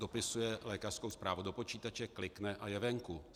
Dopisuje lékařskou zprávu do počítače, klikne a je venku.